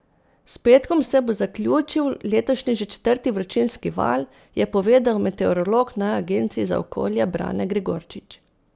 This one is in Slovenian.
S petkom se bo zaključil letošnji že četrti vročinski val, je povedal meteorolog na agenciji za okolje Brane Gregorčič.